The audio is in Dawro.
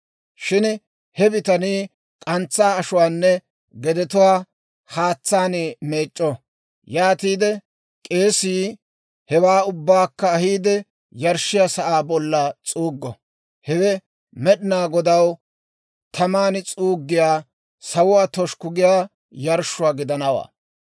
Shin he bitanii k'antsaa ashuwaanne gedetuwaa haatsaan meec'c'o. Yaatiide k'eesii hewaa ubbaakka ahiide, yarshshiyaa sa'aa bolla s'uuggo; hewe Med'inaa Godaw taman s'uuggiyaa, sawuwaa toshukku giyaa yarshshuwaa gidanawaa.